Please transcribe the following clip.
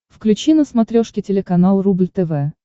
включи на смотрешке телеканал рубль тв